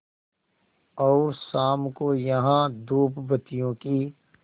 और शाम को यहाँ धूपबत्तियों की